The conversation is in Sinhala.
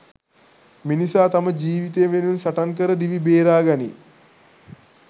මිනිසා තම ජීවිතය වෙනුවෙන් සටන් කර දිවි බේරා ගනී.